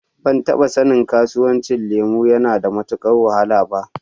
Ban taɓa sanin sabon kasuwancin lemu yana da matuƙar wahala ba.